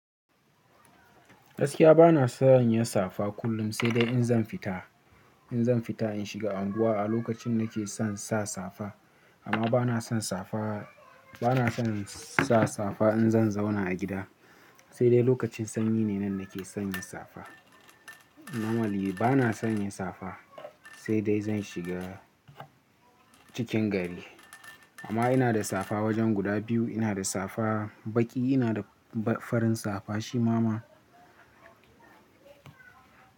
Gaskiya bana son yin safa kullum, sai dai in zan fita. In zan fita in shiga anguwa a lokacin nake son sa safa. Amma bana son safa, bana son sa safa in zan zauna a gida. Sai dai lokacin sanyi ne nan nake son yin safa. Na wali bana son yin safa, sai dai zan shiga cikin gari. Amma ina da safa wajen guda biyu, ina da safa baƙi, ina da farin safa, shi ma ma.